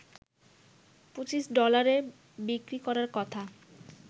২৫ ডলারে বিক্রি করার কথা